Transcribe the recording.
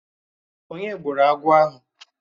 Onye gburu agwọ̀ ahụ?